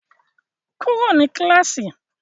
Kúrò ní kíláàsì!